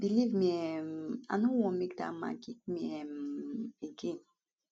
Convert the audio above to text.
believe me um i no want make dat man kick me um again